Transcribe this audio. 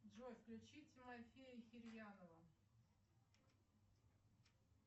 джой включи тимофея кирьянова